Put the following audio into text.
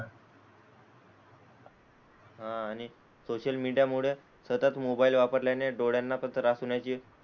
हां आणि सोशल मीडियामुळे सतत मोबाईल वापरल्याने डोळ्यांनापण त्रास होण्याची,